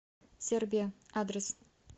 сербия адрес